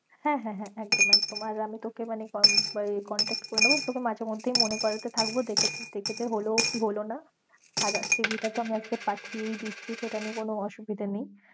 হ্যাঁ হ্যাঁ একদম একদম আর আমি তোকে মানে উম contact করেনেব, তোকে মাঝে মধ্যেই মনে করাতে থাকবো দেখেছিস হল কি হল না আর cv টা তো আজকে আমি পাঠিয়েই দিচ্ছে, সেটা নিয়ে তো কোনো অসুবিধা নেই